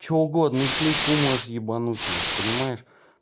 что угодно и клейку можешь ебануть нахуй понимаешь